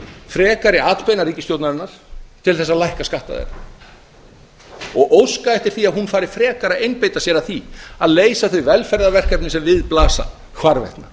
frekari atbeina ríkisstjórnarinnar til þess að lækka skatta þeirra og óska eftir því að hún fari frekar að einbeita sér að því að leysa þau velferðar verkefni sem við blasa hvarvetna